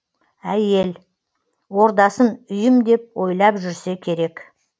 әйел ордасын үйім деп ойлап жүрсе керек